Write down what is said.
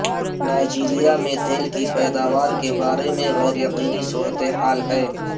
Nigeria میں تیل کی پیداوار کے بارے میں غیر یقینی صورتحال ہے